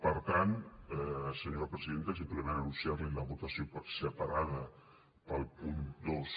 per tant senyora presidenta simplement anunciar li la votació separada per al punt dos